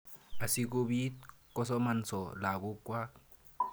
Asi kopit kosomanso lagok kwak.